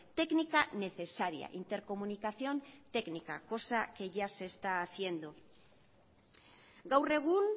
técnica necesaria intercomunicación técnica cosa que ya se está haciendo gaur egun